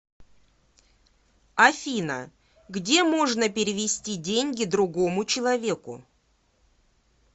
афина где можно перевести деньги другому человеку